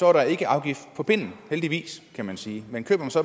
er der ikke afgift på pinden heldigvis kan man sige men køber